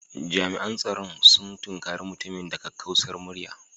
Jami'an tsaro sun tunkare mutumin da kakkausar murya